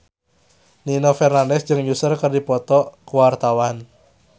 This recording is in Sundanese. Nino Fernandez jeung Usher keur dipoto ku wartawan